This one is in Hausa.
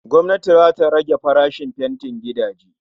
Gwamnati zata rage farashin fentin gidaje